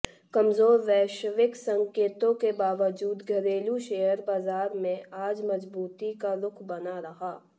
कमजोर वैश्विक संकेतों के बावजूद घरेलू शेयर बाजार में आज मजबूती का रुख बना रहा